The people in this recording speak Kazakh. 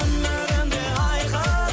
өнерім де айқын